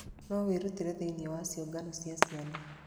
No wĩrutire thĩinĩ wa ciũngano cia ciana.